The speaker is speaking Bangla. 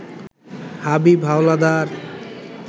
হাবীব হাওলাদার